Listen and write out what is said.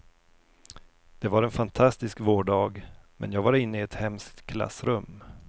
Det var en fantastisk vårdag, men jag var inne i ett hemskt klassrum.